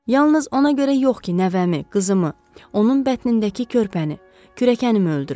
Yalnız ona görə yox ki, nəvəmi, qızımı, onun bətnindəki körpəni, kürəkənimi öldürüb.